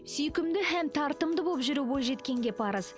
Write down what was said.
сүйкімді хәм тартымды болып жүру бойжеткенге парыз